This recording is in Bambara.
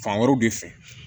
Fan wɛrɛw de fɛ